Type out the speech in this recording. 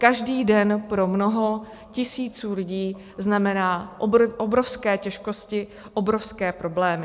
Každý den pro mnoho tisíců lidí znamená obrovské těžkosti, obrovské problémy.